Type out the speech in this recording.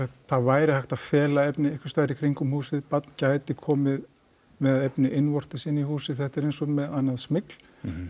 það væri hægt að fela efni einhversstaðar í kringum húsið barn gæti komið með efni innvortis inn í húsið þetta er eins og með annað smygl